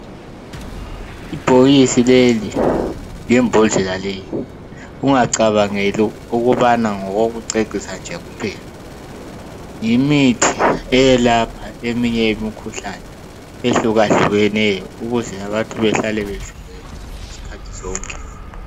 Ibhokisi leli lembhodlela leyi ungacabangeli ukubana ngokokucecisa nje kuphela, yimithi eyelapha eminye imikhuhlane ehlukahlukeneyo ukuze abantu behlale bevikelekile izikhathi zonke.